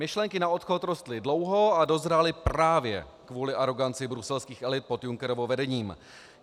Myšlenky na odchod rostly dlouho a dozrály právě kvůli aroganci bruselských elit pod Junckerovým vedením.